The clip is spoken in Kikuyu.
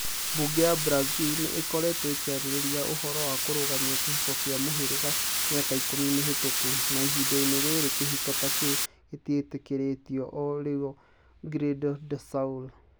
Bunge ya Brazil nĩ ĩkoretwo ĩkĩarĩrĩria ũhoro wa kũrũgamia kĩhiko kĩa mũhĩrĩga mĩaka ikũmi mĩhĩtũku, na ihinda-inĩ rĩrĩ kĩhiko ta kĩu gĩtĩkĩrĩtio o Rio Grande do Sul.